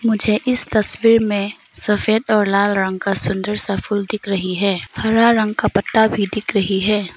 मुझे इस तस्वीर में सफेद और लाल रंग का सुंदर सा फूल दिख रही है हरा रंग का पत्ता भी दिख रही है।